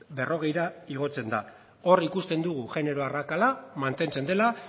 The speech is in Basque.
berrogeira igotzen da hor ikusten dugu genero arrakala mantentzen dela